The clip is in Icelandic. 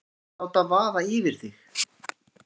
Ekki láta vaða yfir þig.